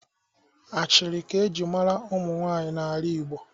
Ashịrị ka-eji mara ụmụ nwaanyị n'ala igbo